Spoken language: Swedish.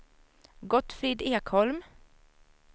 Gottfrid Ekholm